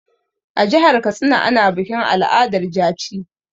A jihar Katsina ana bikin al'adar jaci.